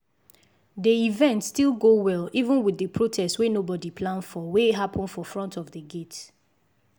the event still go well even with the protest wey nobody plan for wey happen for front of d gate